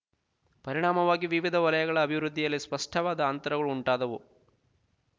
ಪರಿಣಾಮವಾಗಿ ವಿವಿಧ ವಲಯಗಳ ಅಭಿವೃದ್ಧಿಯಲ್ಲಿ ಸ್ಪಷ್ಟವಾದ ಅಂತರಗಳು ಉಂಟಾದವು